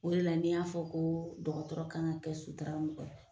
O de la ne y'a fɔ koo dɔgɔtɔrɔ kan ka kɛ sutara mɔgɔ ye